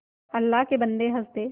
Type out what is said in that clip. अल्लाह के बन्दे हंस दे